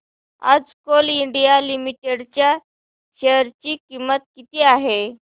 आज Coal India Limited च्या share ची किंमत किती आहे